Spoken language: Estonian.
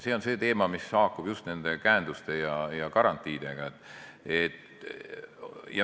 See on see teema, mis haakub just nende käenduste ja garantiidega.